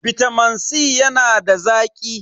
Bitamin C yana da zaki.